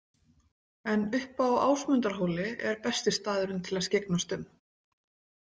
En uppi á Ásmundarhóli er besti staðurinn til að skyggnast um.